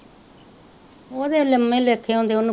ਓਹ ਤੇ ਲਮੇ ਲੇਖੈ ਆਉਂਦੀ ਓਨੁ,